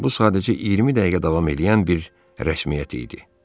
Bu sadəcə 20 dəqiqə davam eləyən bir rəsmiyyət idi.